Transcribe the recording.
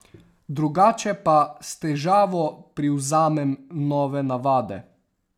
Drugače pa s težavo privzamem nove navade.